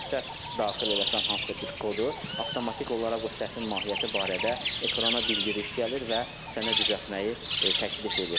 Çünki səhv daxil eləsən hansısa bir kodu, avtomatik olaraq o səhvin mahiyyəti barədə ekrana bildiriş gəlir və sənə düzəltməyi təklif eləyir.